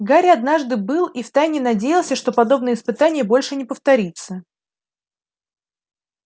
гарри однажды был и в тайне надеялся что подобное испытание больше не повторится